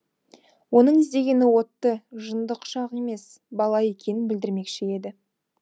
оның іздегені отты жынды құшақ емес бала екенін білдірмекші еді